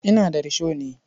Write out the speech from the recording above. Ina da risho ne.